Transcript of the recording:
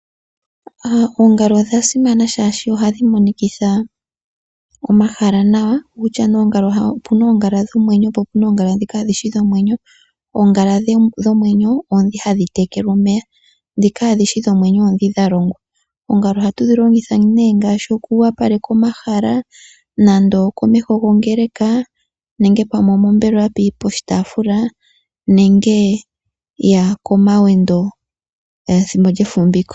Oongala odha simana shaashi ohadhi monikitha omahala nawa, okutya nee opuna oongala dhomwenyo po opuna oongala ndho ndhi kaadhishi dhomwenyo. Oongala dhomwenyo oondhi hadhi tekelwa omeya, ndhi kaadhi shi dhomwenyo oondhi dha longwa. Oongala ohatu dhi longitha nee ngaashi oku opaleka omahala, nande okomeho gongeleka nenge pamwe omombelewa poshitaafula nenge okomawendo ethimbo lyefumviko.